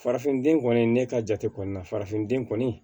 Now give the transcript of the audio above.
Farafinden kɔni ne ka jate kɔni na farafinden kɔni